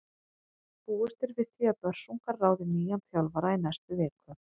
Búist er við því að Börsungar ráði nýjan þjálfara í næstu viku.